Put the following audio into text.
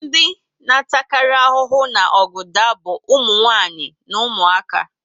Ndị na ata kari ahụhụ na ọgụ daa bu umunwanyi na umuaka